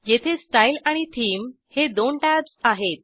येथे स्टाईल आणि थीम हे दोन टॅब्ज आहेत